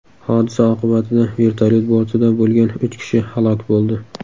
Hodisa oqibatida vertolyot bortida bo‘lgan uch kishi halok bo‘ldi.